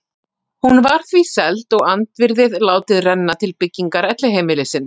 Hún var því seld og andvirðið látið renna til byggingar elliheimilisins.